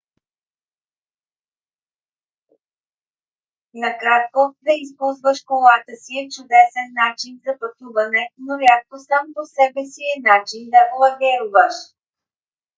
накратко да използваш колата си е чудесен начин за пътуване но рядко сам по себе си е начин да лагеруваш